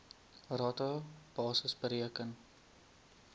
rata basis bereken